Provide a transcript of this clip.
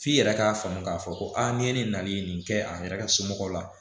F'i yɛrɛ k'a faamu k'a fɔ ko aa ni ye ne nalen nin kɛ a yɛrɛ ka somɔgɔw la